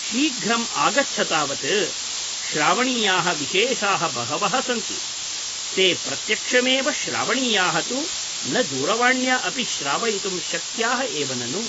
शीघ्रम् आगच्छ तावत् । श्रावणीयाः विशेषाः बहवः सन्ति । ते प्रत्यक्षमेव श्रावणीयाः तु न दूरवाण्या अपि श्रावयितुं शक्याः एव ननु ?